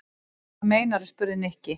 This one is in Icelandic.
Hvað meinarðu? spurði Nikki.